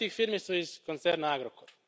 Mnoge od tih firmi su iz koncerna Agrokor.